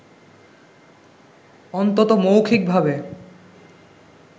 অন্তত মৌখিকভাবে